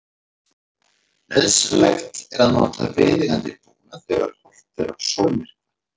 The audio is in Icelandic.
Nauðsynlegt er að nota viðeigandi búnað þegar horft er á sólmyrkva.